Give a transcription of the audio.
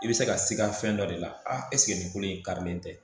I bɛ se ka siga fɛn dɔ de la ɛseke nin kolo in karilen tɛ